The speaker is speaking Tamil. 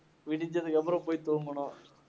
விடிஞ்சதுக்கப்புறம் போய் தூங்கணும்.